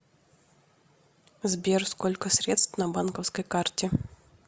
сбер сколько средств на банковской карте